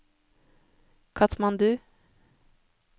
Katmandu